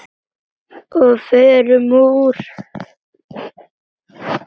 Og förum úr.